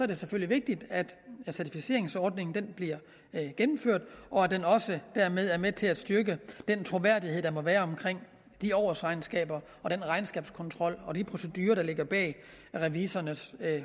det selvfølgelig vigtigt at certificeringsordningen bliver gennemført og at den også dermed er med til at styrke den troværdighed der må være omkring de årsregnskaber og den regnskabskontrol og de procedurer der ligger bag revisorernes